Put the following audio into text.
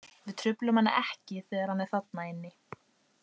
Við truflum hann ekki þegar hann er þarna inni.